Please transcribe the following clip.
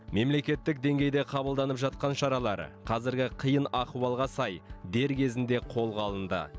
мемлекеттік деңгейде қабылданып жатқан шаралар қазіргі қиын ахуалға сай дер кезінде қолға алынды